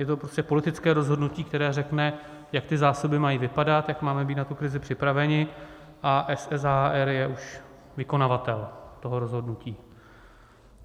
Je to prostě politické rozhodnutí, které řekne, jak ty zásoby mají vypadat, jak máme být na tu krizi připraveni a SSHR je už vykonavatel toho rozhodnutí.